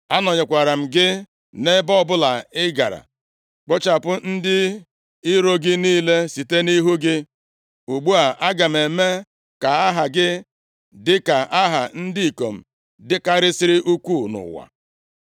Anọnyekwara m gị nʼebe ọbụla ị gara, kpochapụ ndị iro gị niile site nʼihu gị. Ugbu a, aga m eme ka aha gị dịka aha ndị ikom dịkarịsịrị ukwuu nʼụwa.